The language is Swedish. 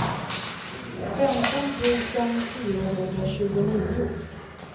femton tusen fyrahundratjugonio